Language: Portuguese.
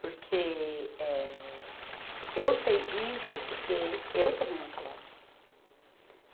Porque eh, eu sei disso porque eu tomei um calote.